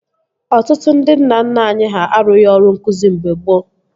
Ọtụtụ ndị nna nna anyị ha arụghi ọrụ nkụzi mgbe gboo